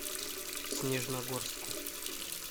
снежногорску